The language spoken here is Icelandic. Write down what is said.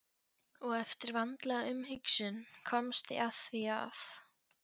Og eftir vandlega umhugsun komst ég að því að